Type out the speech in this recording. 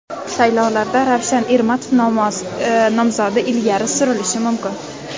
Saylovlarda Ravshan Ermatov nomzodi ilgari surilishi mumkin.